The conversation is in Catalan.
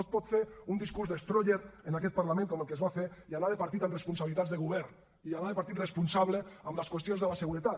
no es pot fer un discurs destroyer en aquest parlament com el que es va fer i anar de partit amb responsabilitats de govern i anar de partit responsable en les qüestions de la seguretat